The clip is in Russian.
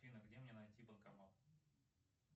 афина где мне найти банкомат